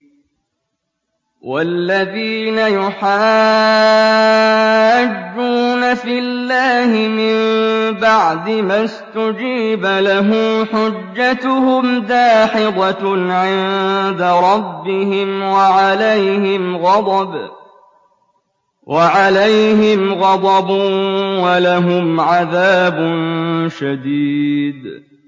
وَالَّذِينَ يُحَاجُّونَ فِي اللَّهِ مِن بَعْدِ مَا اسْتُجِيبَ لَهُ حُجَّتُهُمْ دَاحِضَةٌ عِندَ رَبِّهِمْ وَعَلَيْهِمْ غَضَبٌ وَلَهُمْ عَذَابٌ شَدِيدٌ